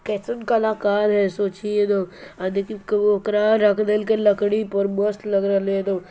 कइसन कलाकार है सोचिए न अ देखिए उकरा के रख दियल है लकड़ी पर मस्त लग रहल उ।